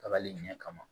Kabali ɲɛ kama